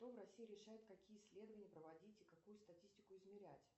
кто в россии решает какие исследования проводить и какую статистику измерять